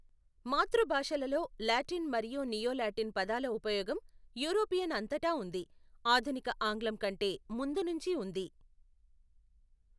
మాతృభాషలలో Latin మరియు neo Latin పదాల ఉపయోగం యూరోపియన్ అంతటా ఉంది, ఆధునిక ఆంగ్లం కంటే ముందు నుంచి ఉంది.